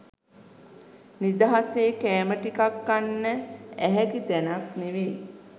නිදහසේ කෑම ටිකක් කන්න ඇහැකි තැනක් නෙවෙයි